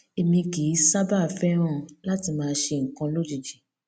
èmi kì í sábà fẹràn láti máa ṣe nǹkan lójijì